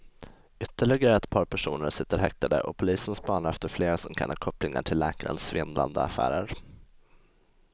Ytterligare ett par personer sitter häktade och polisen spanar efter fler som kan ha kopplingar till läkarens svindlande affärer.